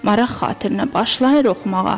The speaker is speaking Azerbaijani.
Maraq xatirinə başlayır oxumağa.